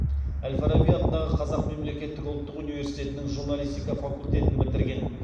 әл фараби атындағы қазақ мемлекеттік ұлттық университетінің журналистика факультетін бітірген